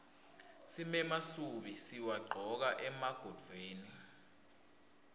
simemasubi siwagcoka emagontfweni